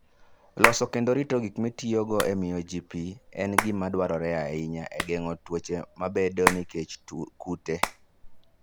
Loso kendo rito gik mitiyogo e miyo ji pi en gima dwarore ahinya e geng'o tuoche mabedoe nikech kute.